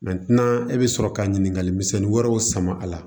e bɛ sɔrɔ ka ɲininkali misɛnnin wɛrɛw sama a la